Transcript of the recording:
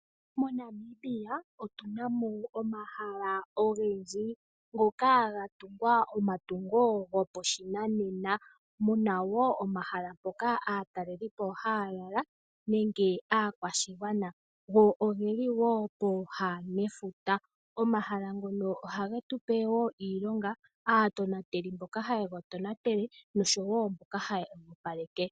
MoNamibia otu na mo omahala ogendji ngoka haga tungwa omatungo gopashinanena . Omu na omahala ngoka aatalelipo haya lala nenge aakwashigwana. Go ogeli woo pooha nefuta. Omahala ngono ohage tupe wo iilonga, aatonateli mboka haye ga tonatele noshowoo mboka haye ga opaleke.